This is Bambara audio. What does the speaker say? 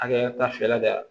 Hakɛ ta fɛɛrɛ de y'a la